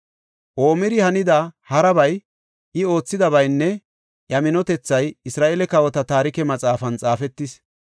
Omiri hanida harabay, I oothidabaynne iya minotethay Isra7eele Kawota Taarike Maxaafan xaafetis.